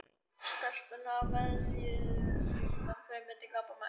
Stelpurnar veðjuðu um það hver myndi gapa mest.